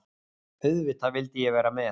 Auðvitað vildi ég vera með.